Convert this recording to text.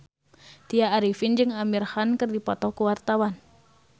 Tya Arifin jeung Amir Khan keur dipoto ku wartawan